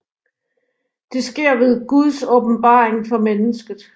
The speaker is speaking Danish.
Det sker ved Guds åbenbaring for mennesket